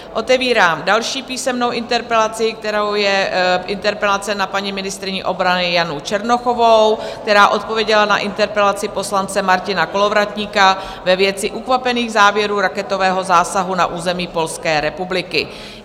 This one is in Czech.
Otevírám další písemnou interpelaci, kterou je interpelace na paní ministryni obrany Janu Černochovou, která odpověděla na interpelaci poslance Martina Kolovratníka ve věci ukvapených závěrů raketového zásahu na území Polské republiky.